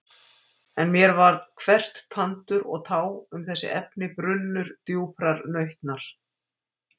En mér var hvert tandur og tá um þessi efni brunnur djúprar nautnar.